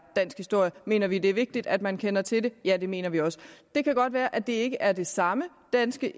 dansk historie mener vi det er vigtigt at man kender til det ja det mener vi også det kan godt være at det ikke er den samme danske